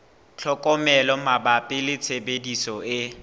tlhokomelo mabapi le tshebediso e